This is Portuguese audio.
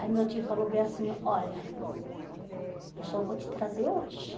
Aí meu tio falou bem assim, olha, eu só vou te trazer hoje.